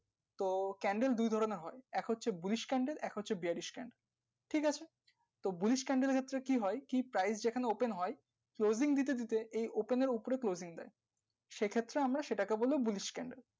তো candle দুই ধরণের হয় এক হচ্ছে bullish candle এক হচ্ছে bearish candle ঠিক আছে তো bullish candle এর ক্ষেত্রে কি হয় কি price যেখানে open হয় saving দিতে দিতে এই open এর উপর closing দেয় সে ক্ষেত্রে আমরা সেটাকে বলি bullish candle